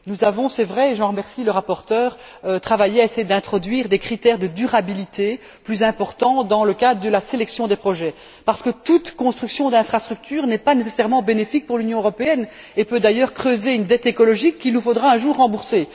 Nous avons, c'est vrai et je remercie le rapporteur essayé d'introduire des critères de durabilité plus importants dans le cadre de la sélection des projets, parce que toute construction d'infrastructure n'est pas nécessairement bénéfique pour l'Union européenne et peut d'ailleurs creuser une dette écologique qu'il nous faudra un jour rembourser.